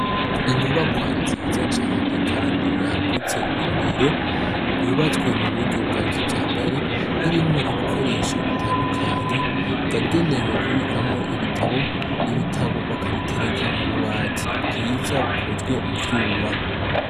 Inyubakwa nziza cane kandi yagutse imbere yubatswe mu buryo bwa kijambere irimwo ibikoresho bitandukanye, yagenewe kubikwamwo ibitabo, ibitabo bakabitereka mu bubati bwiza bukozwe mu vyuma.